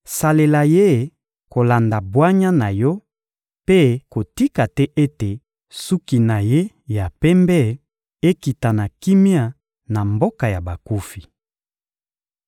Salela ye kolanda bwanya na yo mpe kotika te ete suki na ye ya pembe ekita na kimia na mboka ya bakufi.